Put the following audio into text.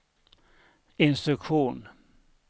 instruktion